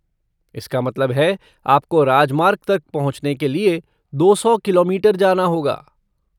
इसका मतलब है आपको राजमार्ग तक पहुँचने के लिये दो सौ किलोमीटर जाना होगा।